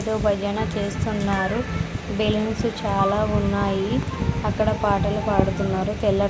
ఇటు భజన చేస్తున్నారు బెలూన్స్ చాలా ఉన్నాయి అక్కడ పాటలు పాడుతున్నారు పిల్ల--